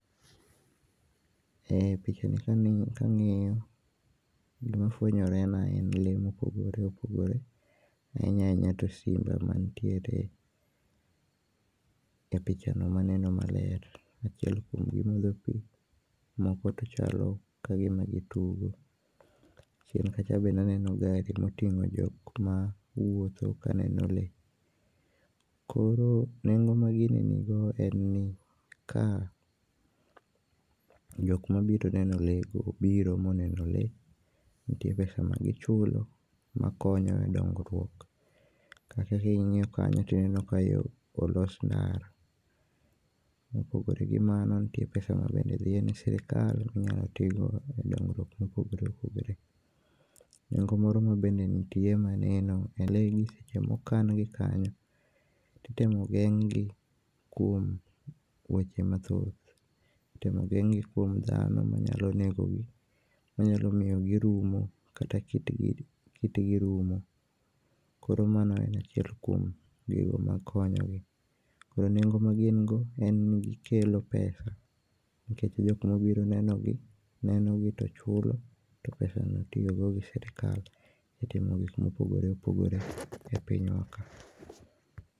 E pichani kang'iyo gima fwenyore na en lee mopogore opogore ahinya ahinya to simba mantiere e pichano maneno maler. Achiel kuom gi modho pii moko to chalo gima gi tugo, chien kacha bende aneno gari otingo jokma wuotho kaneno lee, koro nengo ma gini ni go en ni ka jok mobiro neno lee go obiro neno lee. Nitie pesa ma gichulo makonyo e dongruok, kata ka ingiyo kanyo to ineno ka olos ndara. Mopogore gi mano nitie pesa madhi ne sirikal makonyo minyalo tigo e dongruok mopogore opogore. Nengo moro mabende nitie maneno en ni lee gi seche ma okan gi kanyo, to itemo geng gi kuom weche mathoth, itemo geng gi kuom dhano manyalo nego gi ,manyalo miyo kit gi rumo ,koro mano en achiel kuom gigo ma konyogi .Kuom nengo ma gin go en ni gikelo pesa nikech jogo mobiro neno gi neno gi to chulo to pesano itiyo go gi sirikal e timo gik mopogore opogore e pinywa ka.